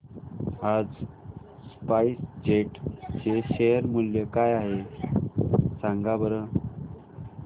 आज SpiceJet चे share मूल्य काय आहे सांगा बरं